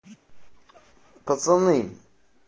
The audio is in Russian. пацаны